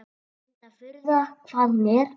Reyndar furða hvað hún er.